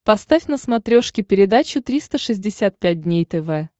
поставь на смотрешке передачу триста шестьдесят пять дней тв